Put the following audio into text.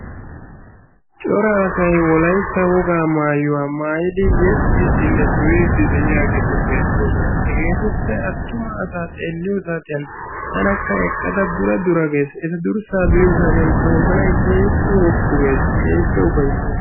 Cora asay wolaytta wogaa maayuwa maayidi yeexxidinne duriiddi de'iyageeti beettoosona. Hegeetuppe attumaa asaa xeelliyo saatiyan tanakka eqqada dura dura gees. Eta durssa be'iyo saatiyan ta wozanay keehippe woppu gees, keehippe ufayssees.